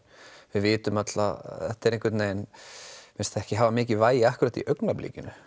við vitum öll að þetta virðist ekki hafa mikið vægi akkúrat núna í augnablikinu